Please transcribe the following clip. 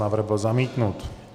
Návrh byl zamítnut.